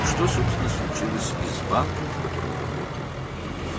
Yurinin işlədiyi bankla əslində nə baş verdi?